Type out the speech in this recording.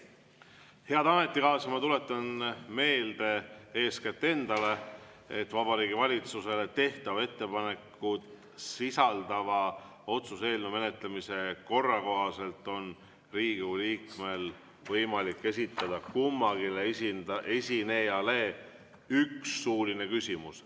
Head ametikaaslased, ma tuletan meelde, eeskätt endale, et Vabariigi Valitsusele tehtavat ettepanekut sisaldava otsuse eelnõu menetlemise korra kohaselt on Riigikogu liikmel võimalik esitada kummalegi esinejale üks suuline küsimus.